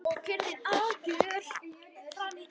Og kyrrðin algjör.